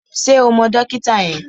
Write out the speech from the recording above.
Ṣé o mọ dókítà yẹn?